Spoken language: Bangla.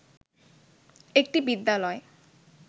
একটি বিদ্যালয়